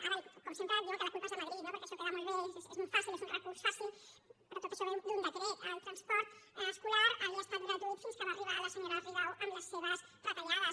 ara com sempre diuen que la culpa és de madrid no perquè això queda molt bé és molt fàcil és un recurs fàcil però tot això ve d’un decret el transport escolar havia estat gratuït fins que va arribar la senyora rigau amb les seves retallades